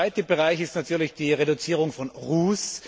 Der zweite Bereich ist natürlich die Reduzierung von Ruß.